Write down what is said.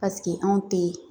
Paseke anw tɛ